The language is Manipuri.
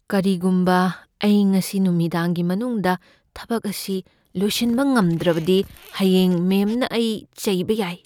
ꯀꯔꯤꯒꯨꯝꯕ ꯑꯩ ꯉꯁꯤ ꯅꯨꯃꯤꯗꯥꯡꯒꯤ ꯃꯅꯨꯡꯗ ꯊꯕꯛ ꯑꯁꯤ ꯂꯣꯏꯁꯤꯟꯕ ꯉꯝꯗ꯭ꯔꯕꯗꯤ, ꯍꯌꯦꯡ ꯃꯦꯝꯅ ꯑꯩ ꯆꯩꯕ ꯌꯥꯏ꯫